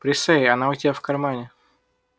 присей она у тебя в кармане